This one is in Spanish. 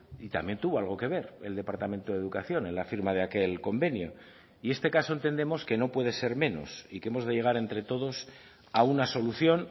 y también tuvo algo que ver el departamento de educación en la firma de aquel convenio y este caso entendemos que no puede ser menos y que hemos de llegar entre todos a una solución